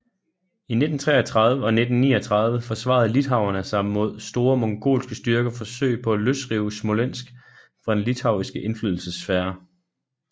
I 1333 og 1339 forsvarede litauerne sig mod store mongolske styrkers forsøg på at løsrive Smolensk fra den litauiske indflydelsessfære